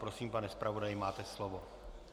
Prosím, pane zpravodaji, máte slovo.